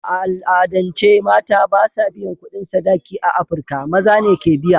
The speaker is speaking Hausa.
A al'adance, mata ba sa biyan kudin sadaki a Afirka; Maza ne ke biya.